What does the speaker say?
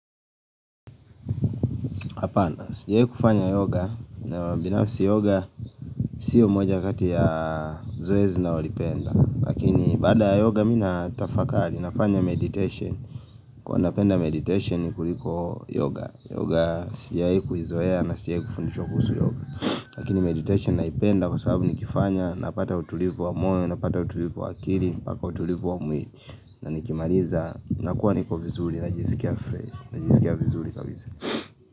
Hapana, sijwahi kufanya yoga na binafsi yoga sio moja kati ya zoezi ninaolipenda Lakini baada ya yoga mimi natafakari nafanya meditation Kwa napenda meditation kuliko yoga Yoga sijawahi kuzoea na sijawahi kufundishwa kuhusu yoga Lakini meditation naipenda kwa sababu nikifanya Napata utulivu wa moyo, napata utulivu wa akili, mpaka utulivu wa mwili na nikimaliza, nakuwa niko vizuri najisikia vizuli kabisa.